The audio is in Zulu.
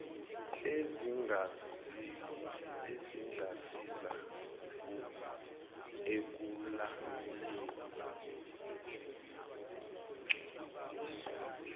ezingasiza ekulawulweni ukungcolisa